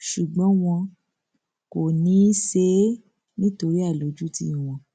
ṣùgbọn wọn kò ní í ṣe é nítorí àìlójútì wọn